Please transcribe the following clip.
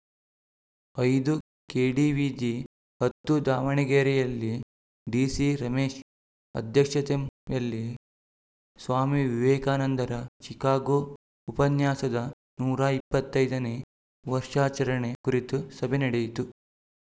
ಐದು ಕೆಡಿವಿಜಿ ಹತ್ತು ದಾವಣಗೆರೆಯಲ್ಲಿ ಡಿಸಿ ರಮೇಶ್‌ ಅಧ್ಯಕ್ಷತೆಯಲ್ಲಿ ಸ್ವಾಮಿ ವಿವೇಕಾನಂದರ ಚಿಕಾಗೋ ಉಪನ್ಯಾಸದ ನೂರ ಇಪ್ಪತ್ತ್ ಐದನೇ ವರ್ಷಾಚರಣೆ ಕುರಿತ ಸಭೆ ನಡೆಯಿತು